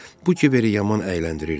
Bu kiveri yaman əyləndirirdi.